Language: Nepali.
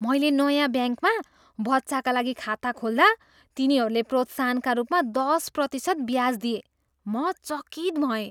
मैले नयाँ ब्याङ्कमा बच्चाका लागि खाता खोल्दा तिनीहरूले प्रोत्साहनका रूपमा दस प्रतिशत ब्याज दिए, म चकित भएँ।